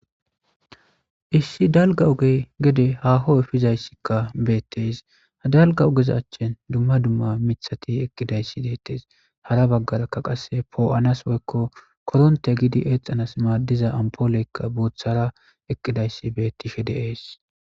issi dalga ogey gede haho efizayssikka beettes ha dalga ogezachchin dumma dumma mithati eqqidayssi deettees hara baggarakka qasse poo7anas woykko koronte gidi eexanas maaddiza ampooleykka boothara eqqidayssi bettisfhe deees